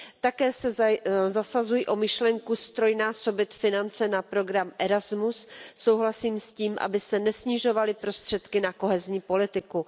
Také se zasazuji o myšlenku ztrojnásobit finance na program Erasmus, souhlasím s tím, aby se nesnižovaly prostředky na kohezní politiku.